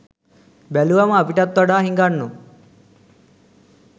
බැලුවම අපිටත් වඩා හිඟන්නෝ